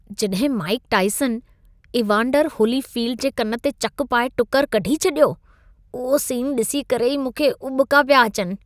जॾहिं Mike Tyson, Evander Holyfield जे कन ते चक पाए टुकुर कढी छॾियो, उहो सीन ॾिसी करे ई मूंखे उॿिका पिया अचनि।